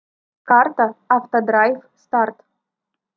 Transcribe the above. карта автодрайв старт